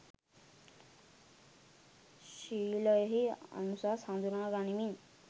ශීලයෙහි අනුසස් හඳුනා ගනිමින්